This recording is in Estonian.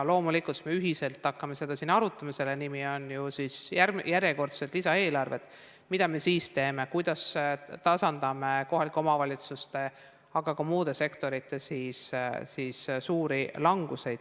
Loomulikult, siis me ühiselt hakkame siin arutama – selle nimi on järjekordsed lisaeelarved –, mida me teeme, kuidas tasandame kohalike omavalitsuste, aga ka muude sektorite suuri langusi.